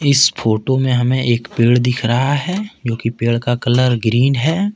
इस फोटो में हमें एक पेड़ दिख रहा है जो कि पेड़ का कलर ग्रीन है।